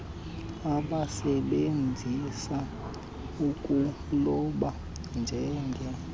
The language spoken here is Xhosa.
abasebenzisa ukuloba njenge